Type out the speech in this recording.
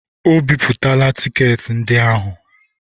O bipụtala tiketi ndị ahụ.